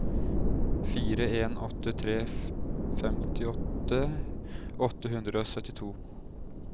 fire en åtte tre femtiåtte åtte hundre og syttito